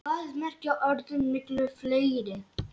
Hvað merkja orðin miklu fleiri?